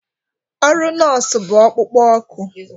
Ọrụ nọọsụ bụ ọkpukpo oku